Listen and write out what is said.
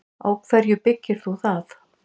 Á hverju byggir þú það?